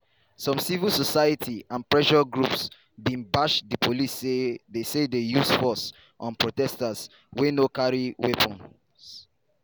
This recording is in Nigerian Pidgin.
some civil society and pressure groups bin bash di police say dey say dey use force on protesters wia no carry weapons.